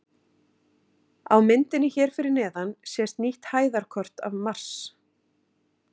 Á myndinni hér fyrir neðan sést nýtt hæðarkort af Mars.